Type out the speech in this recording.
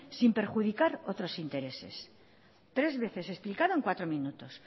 sin perjudicar otros intereses tres veces explicado en cuatro minutos